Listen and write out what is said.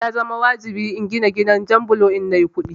Ya zama wajibi in gina gidan jan bulo idan nayi kuɗi